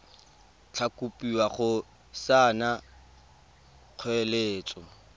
tla kopiwa go saena kgoeletso